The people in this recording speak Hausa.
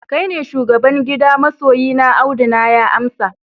kai ne shugaban gida masoyina, Audu na ya amsa